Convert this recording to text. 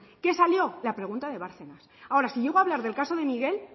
qué salió la pregunta de bárcenas ahora si llego hablar del caso de miguel